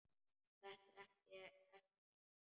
Þetta er ekkert að marka.